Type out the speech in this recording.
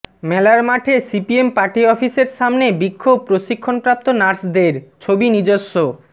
মেলারমাঠে CPM party অফিসের সামনে বিক্ষোভ প্রশিক্ষণপ্রাপ্ত নার্সদের ছবি নিজস্ব